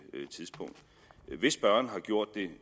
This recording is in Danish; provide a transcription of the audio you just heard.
tidspunkt hvis spørgeren har gjort det